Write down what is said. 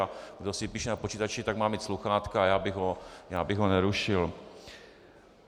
A kdo si píše na počítači, tak má mít sluchátka a já bych ho nerušil.